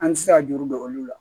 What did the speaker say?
An tɛ se ka juru don olu la